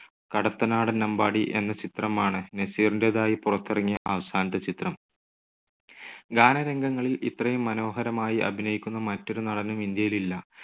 കടത്തനാടൻ അമ്പാടി എന്ന ചിത്രമാണ്‌ നസീറിന്റെതായി പുറത്തിറങ്ങിയ അവസാനത്തെ ചിത്രം. ഗാനരംഗങ്ങളിൽ ഇത്രയും മനോഹരമായി അഭിനയിക്കുന്ന മറ്റൊരു നടനും ഇന്ത്യയിലില്ല.